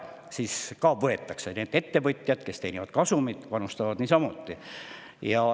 Nii et ettevõtjad, kes teenivad kasumit, panustavad niisamuti.